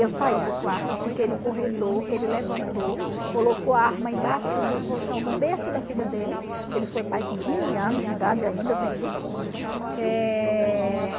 Eu saí do quarto, fiquei no corredor, ele levantou, colocou a arma embaixo do colchão do berço da filha dele, que ele foi pai com quinze anos de idade ainda, tem isso. Eh...